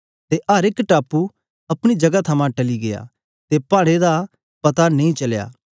ते अर एक टापू अपनी जगह थमां टली गीया ते पाड़ें दा पता नेई चलया